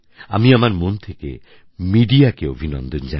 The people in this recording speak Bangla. আমি আমার মন থেকে মিডিয়াকে অভিনন্দন জানাই